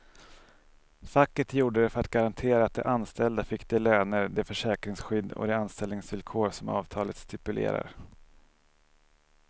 Facket gjorde det för att garantera att de anställda fick de löner, det försäkringsskydd och de anställningsvillkor som avtalet stipulerar.